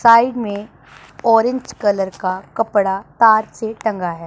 Side मे orange colour का कपड़ा तार से टंगा है।